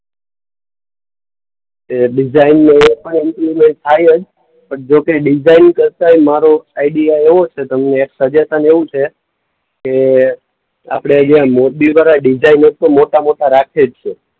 એ ડિઝાઈનનું થાય જ પણ જોકે ડિઝાઈન કરતાંય મારો આઈડિયા એવો છે તમને સજેશન એવું છે કે આપણે જે આ મોરબીવાળા ડિઝાઈનર તો મોટા-મોટા રાખે જ છે.